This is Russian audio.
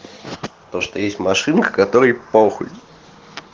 то что есть машинка которая похуй